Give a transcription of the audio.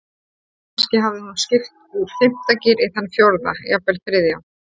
Kannski hafði hún skipt úr fimmta gír í þann fjórða, jafnvel þriðja.